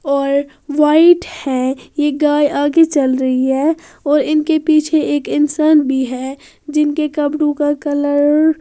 और वाइट है यह गाय आगे चल रही है और इनके पीछे एक इंसान भी है जिनके कपड़ू का कलर --